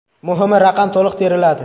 Muhimi, raqam to‘liq teriladi.